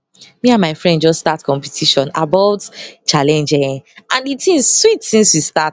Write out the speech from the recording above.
me and my friend just start competition aboyt challenge errr and di thing sweet since we start